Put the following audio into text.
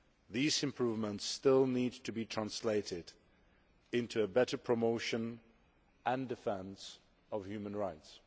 These improvements still need to be translated into better promotion and defence of human rights.